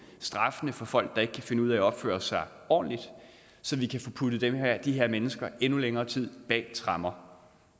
straffene for folk der ikke kan finde ud af at opføre sig ordentligt så vi kan få puttet de her mennesker endnu længere tid bag tremmer